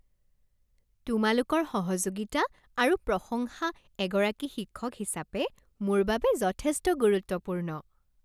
তোমালোকৰ সহযোগিতা আৰু প্ৰশংসা এগৰাকী শিক্ষক হিচাপে মোৰ বাবে যথেষ্ট গুৰুত্বপূৰ্ণ।